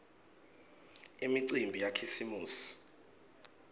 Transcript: imicimbi yakhisimusi